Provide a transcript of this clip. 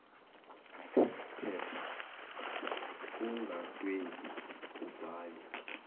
phepha ungadwebi uvale